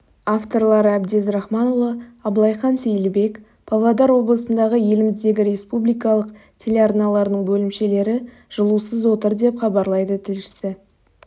авторлары әбдез рахманұлы абылайхан сейілбек павлодар облысындағы еліміздегі республикалық телеарналардың бөлімшелері жылусыз отыр деп хабарлайды тілшісі